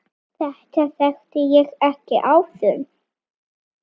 Þetta þekkti ég ekki áður.